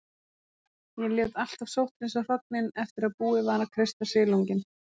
Ég lét alltaf sótthreinsa hrognin eftir að búið var að kreista silunginn.